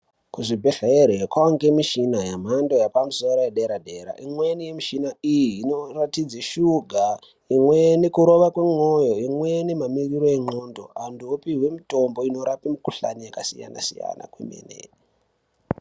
Kuzvibhedhlere kwavanikwe michina yemhando yepamusoro yedera-dera. Imweni yemishina iyi inoratidze suga. Imweni kurova komwoyo, imweni mamirire enxdondo vantu vopuhwe mutombo unorape mikuhlani yakasiyana-siyana kwemene.